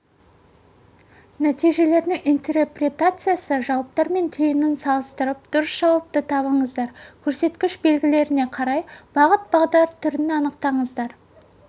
нәтижелердің интерпретациясы жауаптар мен түйінін салысытырып дұрыс жауапты табыңыздар көрсеткіш белгілеріне қарай бағыт бағдар түрін анықтаңыздар